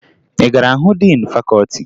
Ị gara hụ diin fakọọti?